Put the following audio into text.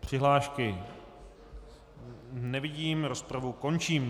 Přihlášky nevidím, rozpravu končím.